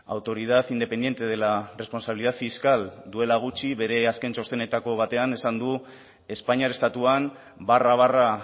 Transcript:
autoridad independiente de la responsabilidad fiscal duela gutxi bere azken txostenetako batean esan du espainiar estatuan barra barra